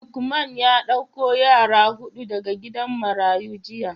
Lukeman ya dauko yara hudu daga gidan marayu jiya.